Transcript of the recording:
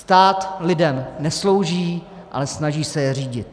Stát lidem neslouží, ale snaží se je řídit.